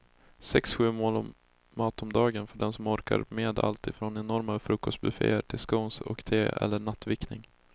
Sex, sju mål mat om dagen för den som orkar med allt från enorma frukostbufféer till scones och te eller nattvickning.